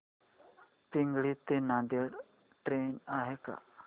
पिंगळी ते नांदेड ट्रेन आहे का